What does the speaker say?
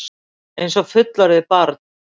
Einsog fullorðið barn.